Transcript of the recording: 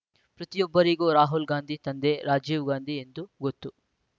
ಪ್ರತಿಯೊಬ್ಬರಿಗೂ ರಾಹುಲ್‌ ಗಾಂಧಿ ತಂದೆ ರಾಜೀವ್‌ ಗಾಂಧಿ ಎಂದು ಗೊತ್ತು